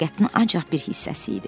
Həqiqətinin ancaq bir hissəsi idi.